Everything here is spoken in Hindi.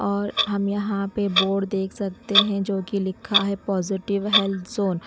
और हम यहां पे बोर्ड देख सकते हैं जो कि लिखा है पॉजिटिव हेल्थ जोन ।